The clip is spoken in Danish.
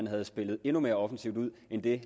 havde spillet endnu mere offensivt ud end det